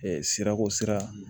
sirako sira